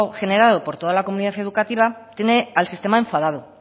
generado por toda la comunidad educativa tiene al sistema enfadado